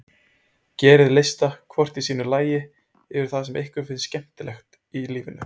Gerið lista, hvort í sínu lagi, yfir það sem ykkur finnst skemmtilegt í lífinu.